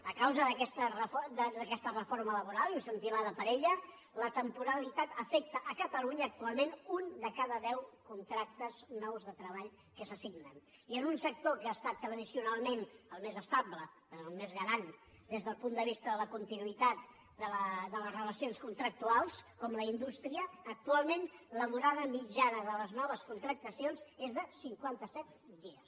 a causa d’aquesta reforma laboral incentivada per aquesta la temporalitat afecta a catalunya actualment un de cada deu contractes nous de treball que se signen i en un sector que ha estat tradicionalment el més estable el més garant des del punt de vista de la continuïtat de les relacions contractuals com la indústria actualment la durada mitjana de les noves contractacions és de cinquanta set dies